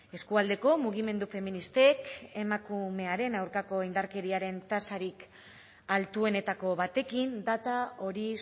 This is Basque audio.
eskualdeko mugimendu feministek emakumearen aurkako indarkeriaren tasarik altuenetako batekin data hori